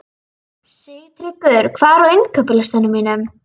Sigtryggur, hvað er á innkaupalistanum mínum?